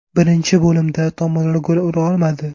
Birinchi bo‘limda tomonlar gol ura olmadi.